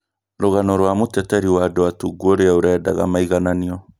rũgano rwa mũteteri wa andũ atungu ũrĩa urendaga maigananio